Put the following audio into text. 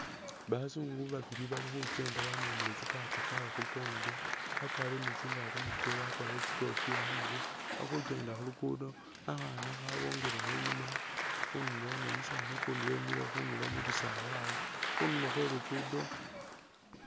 Bazungu babili bali khukenda bamemele tsi bag tsaabwe khukongo bakwarire ni tsingaato mubikele bakwarire in tsikofila bali khukenda khuluguudo, khakhaana khabongelekho inyuma khudulo ni umusaani ukundi wemile khundulo mu bisaala awo khundulo khwe luguudo.